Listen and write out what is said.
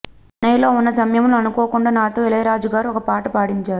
చెన్నైలో ఉన్న సమయంలో అనుకోకుండా నాతో ఇళయరాజాగారు ఒక పాట పాడించారు